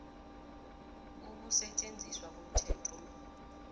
ukusetjenziswa komthetho lo